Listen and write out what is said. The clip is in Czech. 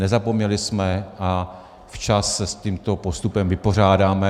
Nezapomněli jsme a včas se s tímto postupem vypořádáme.